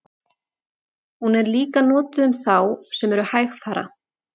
hún er líka notuð um þá sem eru hægfara